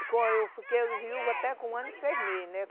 Eu fiquei viúva até com um ano e seis meses, né?